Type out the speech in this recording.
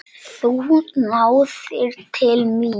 Þú náðir til mín.